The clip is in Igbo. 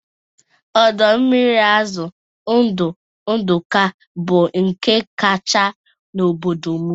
Ọdọ mmiri azụ ndụ Ndụka bụ nke kacha n'obodo m